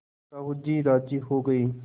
साहु जी राजी हो गये